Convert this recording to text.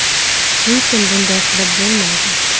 Lekin bunday qilib bo‘lmaydi.